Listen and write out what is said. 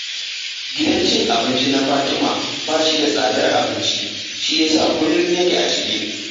Gidan cin abinci na Fatima ba shi da tsadar abinci, shi ya sa kullum yake a cike